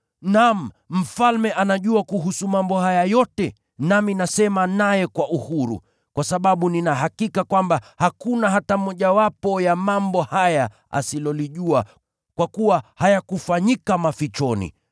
Naam, Mfalme anajua kuhusu mambo haya yote, nami nasema naye kwa uhuru. Kwa sababu nina hakika kwamba hakuna hata mojawapo ya mambo haya asilolijua, kwa kuwa hayakufanyika mafichoni.